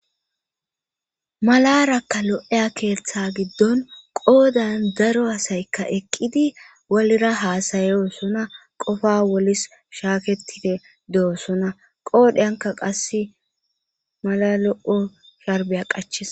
malarakka lo7eya keeththa giddon qoodan daro asaykka eqqidi walira haasayo sona qofa wolis shaaketide de7osona qoodheyanka qasse mala lo7o sharbiya qaches